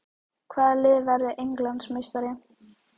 Hvaða lið verður Englandsmeistari?